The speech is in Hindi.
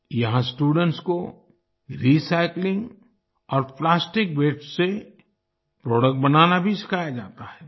यहां स्टूडेंट्स को रिसाइक्लिंग और प्लास्टिक वास्ते से प्रोडक्ट्स बनाना भी सिखाया जाता है